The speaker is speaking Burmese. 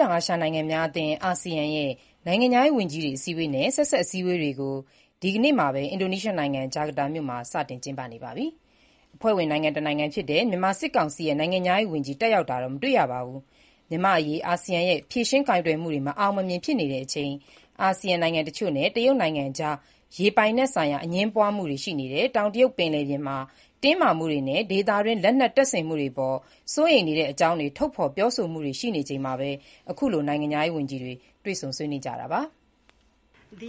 တောင်အာရှနိုင်ငံများအသင်း အာဆီယံ နိုင်ငံခြားရေးဝန်ကြီးတွေရဲ့ အစည်းအဝေးနဲ့ ဆက်စပ် အစည်းအဝေးတွေ ဒီကနေ့ အင်္ဂါနေ့ အင်ဒိုနီးရှားနိုင်ငံ၊ ဂျကာတာမြို့မှာ စတင်ကျင်းပနေပြီး အဖွဲ့ဝင်နိုင်ငံတနိုင်ငံဖြစ်တဲ့ မြန်မာနိုင်ငံဘက်က နိုင်ငံခြားရေးဝန်ကြီး ပါဝင်တက်ရောက်ခြင်း မရှိပါဘူး။ မြန်မာ့အရေး အာဆီယံရဲ့ ဖြေရှင်းကိုင်တွယ်မှုတွေ မအောင်မမြင် ဖြစ်နေတဲ့အချိန်၊ အာဆီယံနိုင်ငံ တချို့နဲ့ တရုတ်နိုင်ငံကြား ရေပိုင်နက် ဆိုင်ရာ အငြင်းပွားမှုတွေ ရှိနေတဲ့ တောင်တရုတ် ပင်လယ်ပြင်မှာလည်း တင်းမာမှုတွေ ရှိနေချိန်နဲ့ ဒေသတွင်း လက်နက်တပ်ဆင်မှုတွေအပေါ် စိုးရိမ်တဲ့အကြောင်း ထုတ်ဖေါ်ပြောဆိုမှုတွေ ရှိနေချိန်မှာ ခုလို နိုင်ငံခြားရေးဝန်ကြီးတွေ တွေ့ဆုံကြတာပါ။ “ဒ